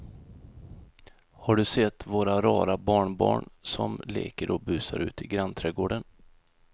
Har du sett våra rara barnbarn som leker och busar ute i grannträdgården!